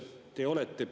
Ka lapsel on inimõigused.